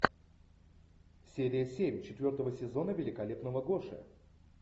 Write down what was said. серия семь четвертого сезона великолепного гоши